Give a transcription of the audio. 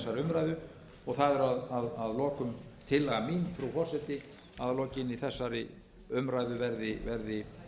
umræðu og það er að lokum tillaga mín frú forseti að að lokinni þessari umræðu verði